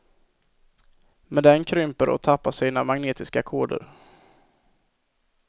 Men den krymper och tappar sina magnetiska koder.